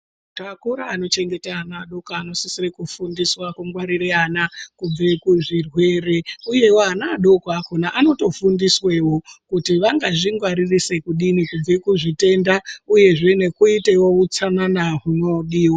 Takura anochengete ana adoko anosisire ekufundiswe kungwarire ana kubve kuzvirwere uyewo ana adoko akhona anotofundisweeo kuti vangazvingwaririse kudini kubve kuzvitenda uyehe nekuitewo utsanana hunodiwa.